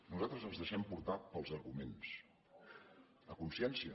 nosaltres ens deixem portar pels arguments a consciència